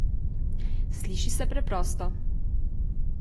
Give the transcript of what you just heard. Sliši se preprosto.